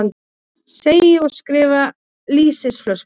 Segi og skrifa lýsisflösku.